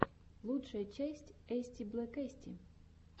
лучшая часть эстиблэкэсти